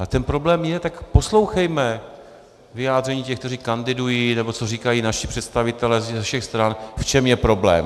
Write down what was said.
A ten problém je, tak poslouchejme vyjádření těch, kteří kandidují, nebo co říkají naši představitelé ze všech stran, v čem je problém.